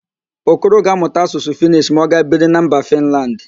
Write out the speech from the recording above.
Okoro ga-amụta Asụsụ Fịnish ma ọ gaa biri na mba Fịnland